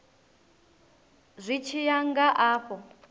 zwi tshi ya nga afho